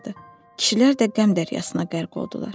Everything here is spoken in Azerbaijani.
Kişilər də qəm dəryasına qərq oldular.